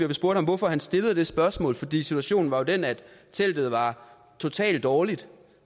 vi spurgte hvorfor han stillede det spørgsmål fordi situationen var jo den at teltet var totalt dårligt